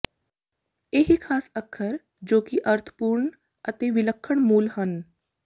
ਇਹ ਖਾਸ ਅੱਖਰ ਜੋ ਕਿ ਅਰਥਪੂਰਨ ਅਤੇ ਵਿਲੱਖਣ ਮੂਲ ਹਨ